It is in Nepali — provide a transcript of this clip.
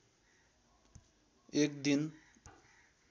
एक दिन